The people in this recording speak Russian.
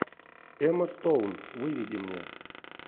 эмма стоун выведи мне